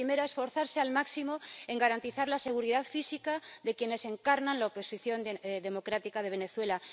La primera, esforzarse al máximo en garantizar la seguridad física de quienes encarnan la oposición democrática de Venezuela.